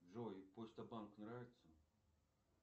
джой почта банк нравится